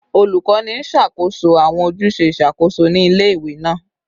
Olukọni n ṣakoso awọn ojuse iṣakoso ni ile-iwe naa